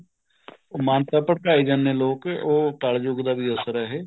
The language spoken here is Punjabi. ਮੰਨ ਤਾ ਭਟਕਾਈ ਜਾਂਦੇ ਹੈ ਲੋਕ ਉਹ ਕਲਯੁੱਗ ਦਾ ਵੀ ਅਸਰ ਹੈ ਇਹ